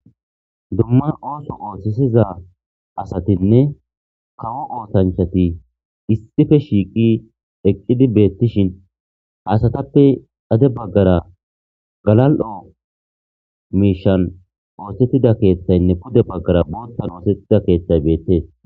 dumma ooso oohthisiza asatinne kawo ootanchati issife shiiqi eqqidi beettishin ha asatappe gede baggara galal7o miishan oosettida keeththaynne pude baggara boottan oosettida keeththay beettees.